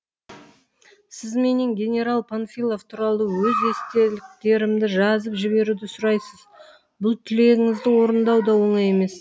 сіз менен генерал панфилов туралы өз естеліктерімді жазып жіберуді сұрайсыз бұл тілегіңізді орындау да оңай емес